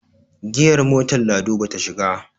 giyar mator lado ba ta shiga